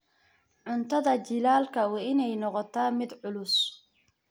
Cuntada jiilaalka waa inay noqotaa mid culus.